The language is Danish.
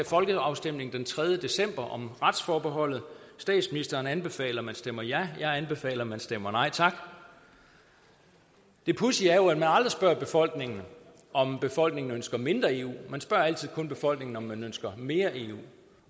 folkeafstemning den tredje december om retsforbeholdet statsministeren anbefaler at man stemmer ja jeg anbefaler at man stemmer nej tak det pudsige er jo at man aldrig spørger befolkningen om befolkningen ønsker mindre eu man spørger altid kun befolkningen om den ønsker mere eu